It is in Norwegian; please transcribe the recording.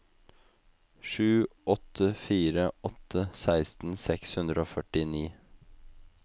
sju åtte fire åtte seksten seks hundre og førtini